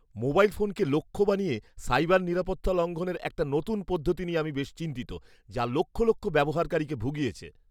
Mobile ফোনকে লক্ষ্য বানিয়ে সাইবার নিরাপত্তা লঙ্ঘনের একটা নতুন পদ্ধতি নিয়ে আমি বেশ চিন্তিত, যা লক্ষ লক্ষ ব্যবহারকারীকে ভুগিয়েছে।